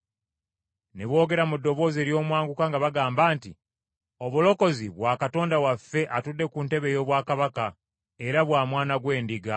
Ne boogera mu ddoboozi ery’omwanguka nga bagamba nti, “Obulokozi bwa Katonda waffe atudde ku ntebe ey’obwakabaka era bwa Mwana gw’Endiga.”